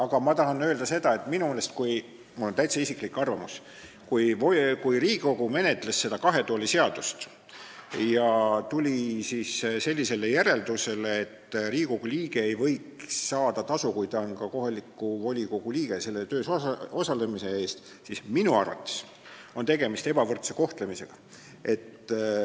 Aga ma tahan öelda, et minu meelest – see on mul täitsa isiklik arvamus –, kui Riigikogu menetles seda kahe tooli seadust ja tuli sellisele järeldusele, et Riigikogu liige ei võiks saada tasu, kui ta on ka kohaliku volikogu liige, volikogu töös osalemise eest, siis minu arvates on tegemist ebavõrdse kohtlemisega.